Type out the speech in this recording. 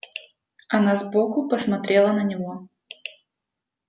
она сбоку посмотрела на него